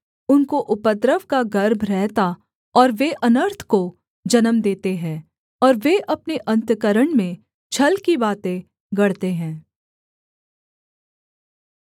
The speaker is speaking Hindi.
उनको उपद्रव का गर्भ रहता और वे अनर्थ को जन्म देते है और वे अपने अन्तःकरण में छल की बातें गढ़ते हैं